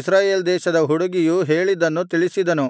ಇಸ್ರಾಯೇಲ್ ದೇಶದ ಹುಡುಗಿಯು ಹೇಳಿದ್ದನ್ನು ತಿಳಿಸಿದನು